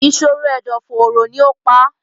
ìṣòro ẹ̀dọ̀-fóóró ni ó pa á.